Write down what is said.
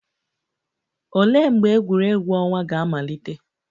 Olee mgbe egwuregwu ọnwa ga-amalite?